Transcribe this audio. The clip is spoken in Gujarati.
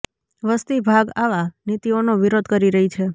વસ્તી ભાગ આવા નીતિઓનો વિરોધ કરી રહી છે